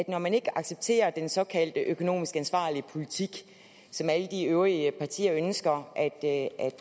når man ikke accepterer den såkaldt økonomisk ansvarlige politik som alle de øvrige partier ønsker at